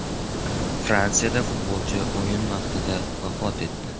Fransiyada futbolchi o‘yin vaqtida vafot etdi.